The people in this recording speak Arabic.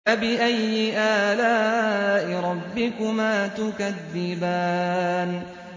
فَبِأَيِّ آلَاءِ رَبِّكُمَا تُكَذِّبَانِ